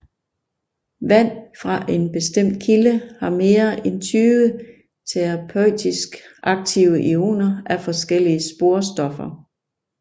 Vand fra en bestemt kilde har mere end 20 terapeutisk aktive ioner af forskellige sporstoffer